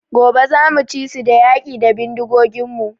Gobe zamu ci su da yaƙi da bindigogin mu